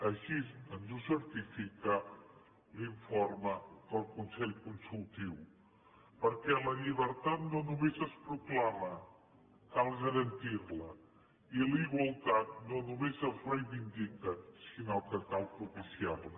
així ens ho certifica l’informe del consell consultiu perquè la llibertat no només es proclama cal garantirla i la igualtat no només es reivindica sinó que cal propiciarla